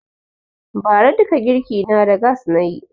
Ba ra duka girki na da gass nayi